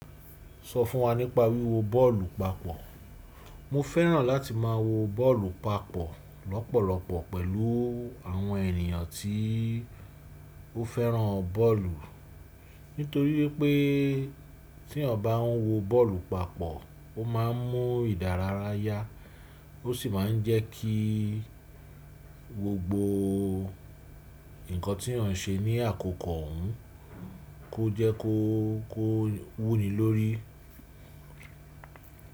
Sọ fún wa nípa wíwo bọ́ọ̀lù papọ̀. Mo fẹ́ràn láti má a wo bọ́ọ̀lù papọ̀ lọ́pọ̀lọpọ̀ pẹ̀lú àwọn ènìyàn tí ó fẹ́ràn bọ́ọ̀lù. Nítorí pé tí ọ̀ bá ń wo bọ́ọ̀lù papọ̀, o má a mún ìdárayá, o sì ma ń jẹ́ kí gbogbo nǹkan tí ọ̀ ń ṣe ní àkókò òhún kó jẹ́ kó, kó wú ni lórí.